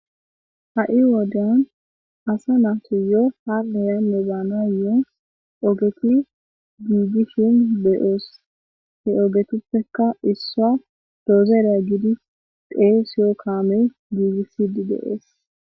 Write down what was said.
Ha'i wodan asa naato yo hanneyanme baanayo'o ogeti giigishin beyoos he ogetuppekka issaa doozereya gidi qee siyo kaame giigissidi deees.